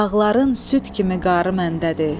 dağların süd kimi qarı məndədir.